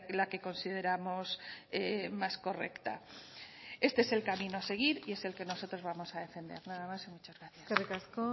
la que consideramos más correcta este es el camino a seguir y es el que nosotros vamos a defender nada más y muchas gracias eskerrik asko